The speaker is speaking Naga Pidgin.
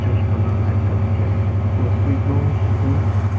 church buna la ekta diki ase cross b ekdum sundor.